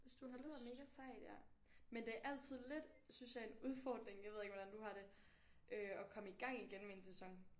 Det lyder mega sejt ja men det er altid lidt synes jeg en udfordring jeg ved ikke hvordan du har det øh at komme i gang igen med en sæson